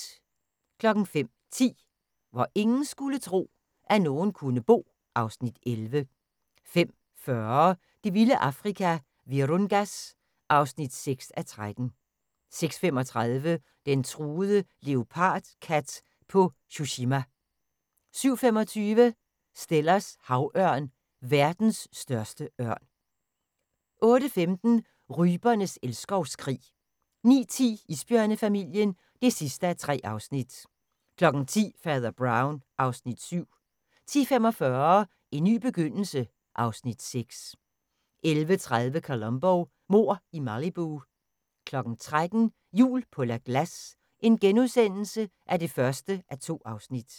05:10: Hvor ingen skulle tro, at nogen kunne bo (Afs. 11) 05:40: Det vilde Afrika - Virungas (6:13) 06:35: Den truede leopardkat på Tsushima 07:25: Stellers havørn – verdens største ørn 08:15: Rypernes elskovskrig 09:10: Isbjørnefamilien (3:3) 10:00: Fader Brown (Afs. 7) 10:45: En ny begyndelse (Afs. 6) 11:30: Columbo: Mord i Malibu 13:00: Jul på La Glace (1:2)*